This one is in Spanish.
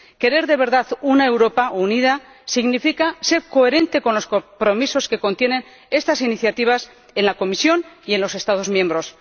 Querer de verdad una Europa unida significa ser coherente con los compromisos que contienen estas iniciativas en la Comisión y en los Estados miembros.